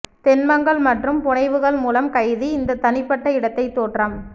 தொன்மங்கள் மற்றும் புனைவுகள் மூலம் கைது இந்த தனிப்பட்ட இடத்தை தோற்றம்